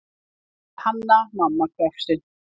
sagði Hanna-Mamma hvefsin.